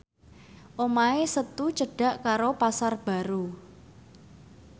omahe Setu cedhak karo Pasar Baru